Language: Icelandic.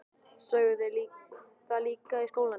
Sögðu þeir það líka í skólanum?